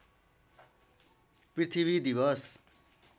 पृथ्वी दिवस